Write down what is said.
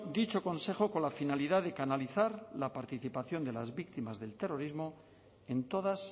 dicho consejo con la finalidad de canalizar la participación de las víctimas del terrorismo en todas